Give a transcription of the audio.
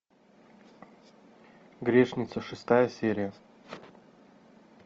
грешница шестая серия